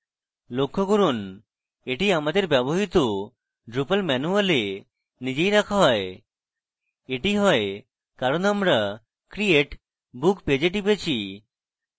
লক্ষ্য করুন এটি আমাদের ব্যবহৃত drupal manual we নিজেই রাখা হয় এটি হয় কারণ আমরা create book page we টিপেছি